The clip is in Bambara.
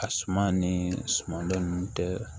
A suma ni suman dɔ ninnu tɛ